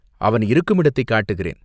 அவன் இருக்குமிடத்தைக் காட்டுகிறேன்.